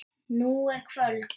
Nú er kvöld.